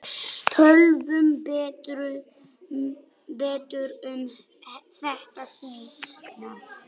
Tölum betur um þetta seinna.